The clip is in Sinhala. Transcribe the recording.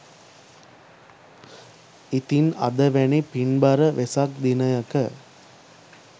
ඉතින් අද වැනි පින්බර වෙසක් දිනයක